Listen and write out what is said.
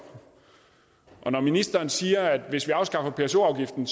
når ministeren siger at hvis vi afskaffer pso afgiften